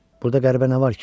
Burda qəribə nə var ki?